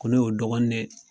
Ko ne y'u dɔgɔnin de ye.